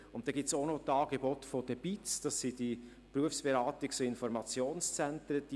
Und dann gibt es auch noch die Angebote der Berufsberatungs- und Informationszentren (BIZ).